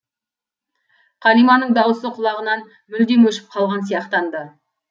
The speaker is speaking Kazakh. қалиманың дауысы құлағынан мүлдем өшіп қалған сияқтанды